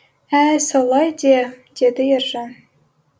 ә солай де деді ержан